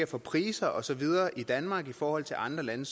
for priser og så videre i danmark i forhold til andre lande